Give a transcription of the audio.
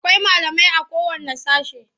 Akwai malamai.a kowanne sashe.